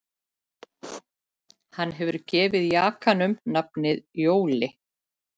Hann hefur gefið jakanum nafnið Jóli